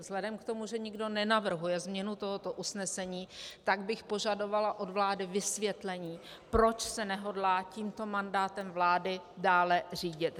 Vzhledem k tomu, že nikdo nenavrhuje změnu tohoto usnesení, tak bych požadovala od vlády vysvětlení, proč se nehodlá tímto mandátem vlády dále řídit.